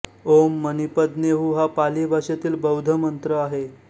ॐ मणिपद्मे हूं हा पाली भाषेतील बौद्ध मंत्र आहे